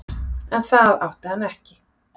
En það átti hann ekki.